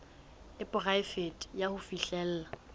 e poraefete ya ho fihlella